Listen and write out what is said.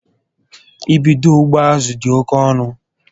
I bídó ugbo azụ dị oke ọnụ